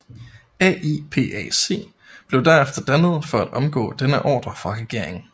AIPAC blev derefter dannet for at omgå denne ordre fra regeringen